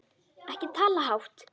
Ekki tala hátt!